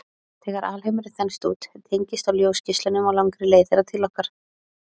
Þegar alheimurinn þenst út, teygist á ljósgeislunum á langri leið þeirra til okkar.